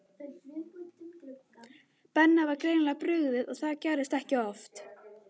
Benna var greinilega brugðið og það gerðist ekki oft.